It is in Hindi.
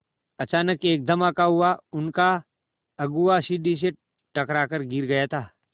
अचानक एक धमाका हुआ उनका अगुआ सीढ़ी से टकरा कर गिर गया था